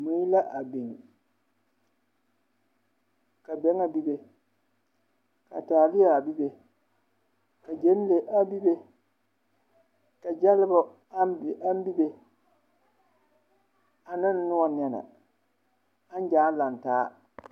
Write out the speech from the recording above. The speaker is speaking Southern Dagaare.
Mui la a biŋ ka bɛŋɛ bibe, ka taalea bibe, ka gyenle a bibe, ka gyɛlebo aŋ bibe aneŋnoɔ nɛne aŋ gyaa laŋ taa.